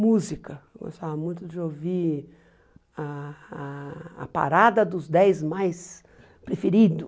Música, eu gostava muito de ouvir ah ah a parada dos dez mais preferidos.